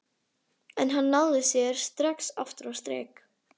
En hann náði sér strax aftur á strik.